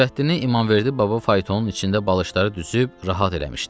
Nurəddini İmamverdi baba faytonun içində balışları düzüb rahat eləmişdi.